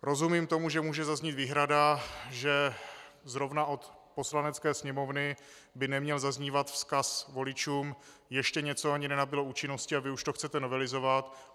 Rozumím tomu, že může zaznít výhrada, že zrovna od Poslanecké sněmovny by neměl zaznívat vzkaz voličům: Ještě něco ani nenabylo účinnosti a vy už to chcete novelizovat.